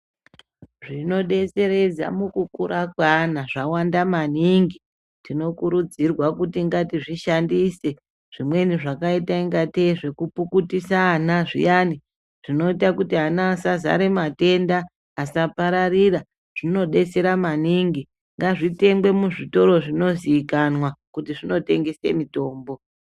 Zvinodetseredza mukukura kweana zvawanda maningi .Tinokurudzirwa kuti ngatizvishandise, zvimweni zvakaita ungatei ngezvepukutisa ana zviyani ,zvinoita kuti ana asazare matenda, asapararira. Zvinodetsera maningi . Ngazvitengwe muzvitoro zvinozikanwa kuti zvinotengese mitombo.